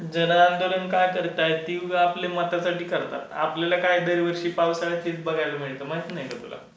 जन आंदोलन काय करताय? ते आपले मतासाठी करतात. आपल्याला काय दरवर्षी पावसाळ्यात तेच बघायला मिळतं, माहित नाही का तुला?